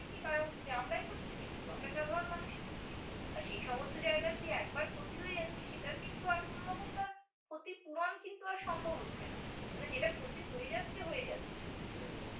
এগুলি কারা হচ্ছি? আমরাই হচ্ছি কিন্তু। আমরা সাধারণ মানুষ আর সে সমস্ত জায়গার যে একবার ক্ষতি হয়ে যাচ্ছে সেটার কিন্তু আর কোনা রকম তার ক্ষতিপূরণ কিন্তু আর সম্ভব হচ্ছে না। মানে যেটা ক্ষতি হয়ে যাচ্ছে হয়ে যাচ্ছে।